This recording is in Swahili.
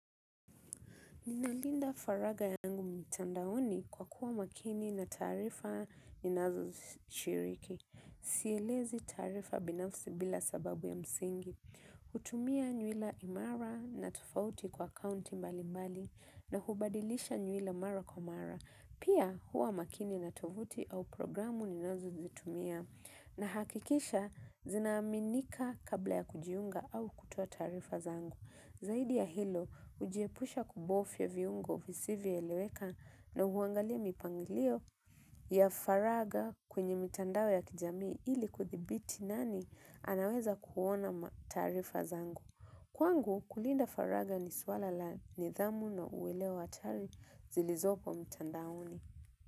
Ninalinda faraga yangu mitandaoni kwa kuwa makini na tarifa ni nazo shiriki. Sielezi tarifa binafsi bila sababu ya msingi. Hutumia nyuila imara na tofauti kwa akaunti mbali mbali na kubadilisha nyuila mara kwa mara. Pia huwa makini na tuvuti au programu ni nazo zitumia na hakikisha zinaaminika kabla ya kujiunga au kutoa tarifa zangu. Zaidi ya hilo, ujiepusha kubofya viungo visivyo eleweka na uangalia mipangilio ya faraga kwenye mitandao ya kijami ili kuthibiti nani anaweza kuona tarifa zangu. Kwangu, kulinda faraga ni swala la nidhamu na uelewa hatari zilizopo mitandaoni.